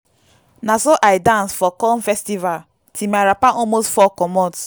na so i dance for corn festival till my wrapper almost fall comot.